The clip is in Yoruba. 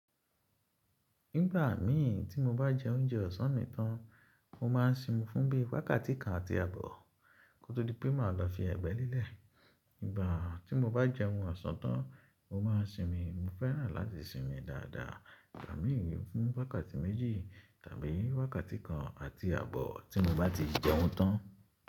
Nígbà mí tí mo bá jẹ oúnjẹ ọ̀sán mi tán, mo má ń sinmi fún bí i wákàtí kan àti àbọ̀ kó tó di pé màá lọ fi ẹgbẹ́ lélẹ̀. Ígbà tí mo bá jẹun oṣan tán, mo ma ń sinmi. Mo fẹ́ràn láti sinmi dáadáa ígbà mí fún wákàtí méjì tàbí wákàtí kan àti àbọ̀ tí mo bá ti jẹun tán.